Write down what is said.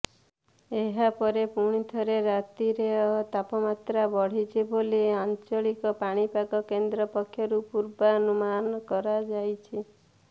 ଏହାପରେ ପୁଣିଥରେ ରାତିର ତାପମାତ୍ରା ବଢ଼ିବ ବୋଲି ଆଞ୍ଚଳିକ ପାଣିପାଗ କେନ୍ଦ୍ର ପକ୍ଷରୁ ପୂର୍ବାନୁମାନ କରାଯାଇଛି